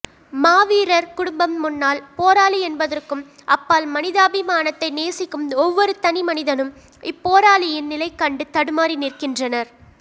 மாவீரர் குடும்பம் முன்னாள் போராளி என்பதற்கும் அப்பால் மனிதாபிமானத்தை நேசிக்கும் ஒவ்வொரு தனி மனிதனும் இப்போராளியின் நிலைகண்டு தடுமாறி நிற்கின்றனர்